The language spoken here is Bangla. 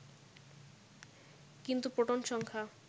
কিন্তু প্রোটন সংখ্যা